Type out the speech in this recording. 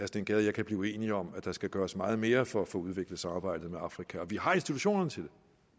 steen gade og jeg kan blive uenige om at der skal gøres meget mere for at få udviklet samarbejdet med afrika og vi har institutionerne til